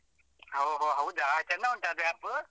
ಹೋ ಹೋ ಹೌದಾ? ಚೆಂದ ಉಂಟಾ ಅದು app ?